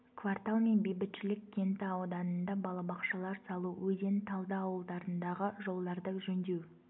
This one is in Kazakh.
квартал мен бейбітшілік кенті ауданында балабақшалар салу өзен талды ауылдарындағы жолдарды жөндеу